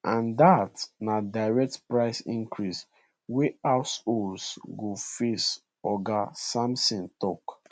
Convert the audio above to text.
and dat na direct price increase wey households go face oga sampson tok